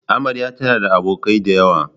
Amarya tana da abokai da yawa.